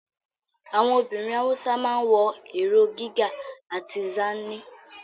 Àwọn obìnrin Hausa ma ń wọ ìró Riga àti Zanne